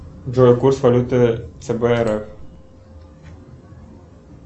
джой курс валюты цб рф